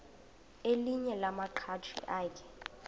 elinye lamaqhaji akhe